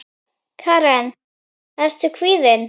Karen: Ertu kvíðinn?